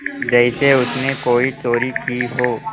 जैसे उसने कोई चोरी की हो